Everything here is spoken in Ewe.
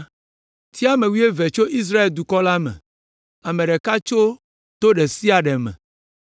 “Tia ame wuieve tso Israel dukɔ la me, ame ɖeka tso to ɖe sia ɖe me,